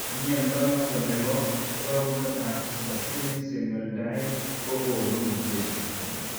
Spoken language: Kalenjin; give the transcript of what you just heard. Mnondo noton nebo rorunetab Succinic semialdehyde kogonu mutations en